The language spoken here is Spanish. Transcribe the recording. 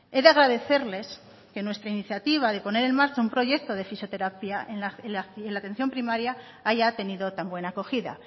he de agradecerles que nuestra iniciativa de poner en marcha un proyecto de fisioterapia en la atención primaria haya tenido tan buena acogida